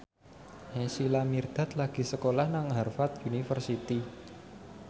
Naysila Mirdad lagi sekolah nang Harvard university